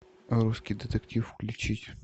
русский детектив включить